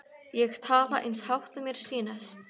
Ég tala eins hátt og mér sýnist.